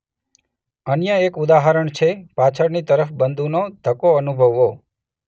અન્ય એક ઉદાહરણ છે પાછળની તરફ બંદૂકનો ધક્કો અનુભવવો.